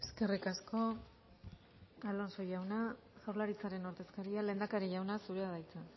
eskerrik asko alonso jauna jaurlaritzaren ordezkaria lehendakari jauna zurea da hitza